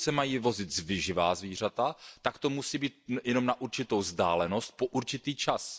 Pokud se mají vozit živá zvířata, tak to musí být jenom na určitou vzdálenost, po určitý čas.